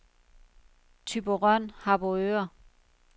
Thyborøn-Harboøre